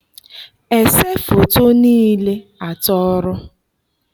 ese foto niile atọrọ.